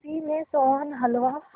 किसी ने सोहन हलवा